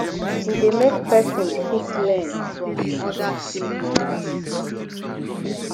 e de make persin fit learn from other team members